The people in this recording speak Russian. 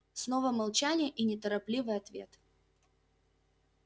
снова молчание и неторопливый ответ